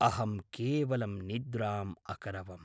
अहं केवलं निद्राम् अकरवम्!